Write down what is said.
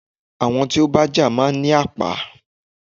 Ẹni tí ó bá ń jà má ní àpá.